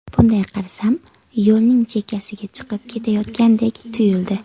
Bunday qarasam yo‘lning chekkasiga chiqib ketayotgandek tuyuldi.